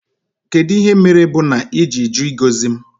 kedụ ihe mere bú n'iji jụ ịgozi m?